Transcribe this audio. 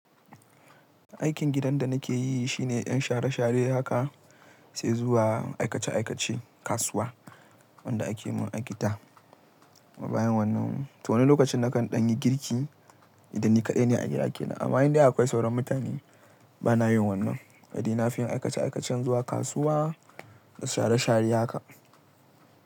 Aikin gidan da nake yi shine 'yan share-share haka sai zuwa aikace-aikace kasuwa wanda ake mun a gida. Ma bayan wannan, to wani lokacin nakan ɗan yi girki idan ni kaɗai ne a gidana. Amma in dai akwai sauran mutane bana yin wannan. Ni nafi yin aikace-aikacen zuwa kasuwa da share-share haka.